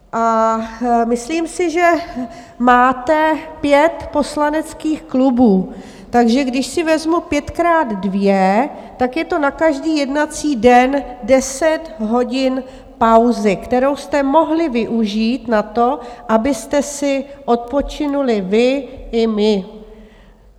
A myslím si, že máte pět poslaneckých klubů, takže když si vezmu pětkrát dvě, tak je to na každý jednací den deset hodin pauzy, kterou jste mohli využít na to, abyste si odpočinuli vy i my.